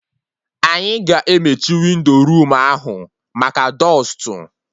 Anyị ga-emechi windo room ahụ maka dọstụ